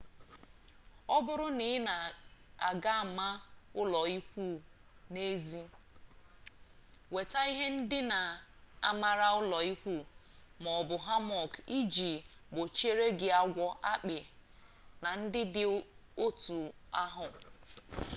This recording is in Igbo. ọ bụrụ na ị ga-ama ụlọikwuu n'ezi weta ihe ndina mara ụlọikwuu ma ọ bụ hammock iji gbochiri gị agwọ akpị na ndị dị otu ahụ